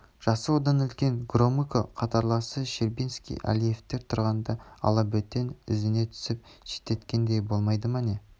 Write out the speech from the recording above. жасы одан үлкен громыко қатарластары щербицкий әлиевтер тұрғанда алабөтен ізіне түсіп шеттеткендей болмай ма не